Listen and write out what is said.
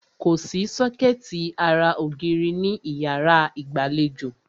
Kòsí sọ́kẹ̀tì ara ògiri ní ìyárá ìgbàlejò.